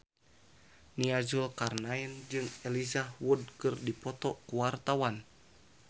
Nia Zulkarnaen jeung Elijah Wood keur dipoto ku wartawan